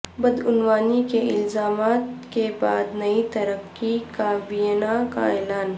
بدعنوانی کے الزامات کے بعد نئی ترک کابینہ کا اعلان